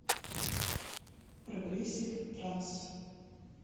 прогрессив транс